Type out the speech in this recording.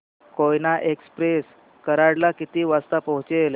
Koyna express Karad ला किती वाजता पोहचेल